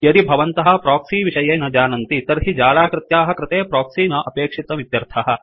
यदि भवन्तः प्रोक्सि विषये न जानन्ति तर्हि जालाकृत्याः कृते प्रोक्सि न अपेक्षितमित्यर्थः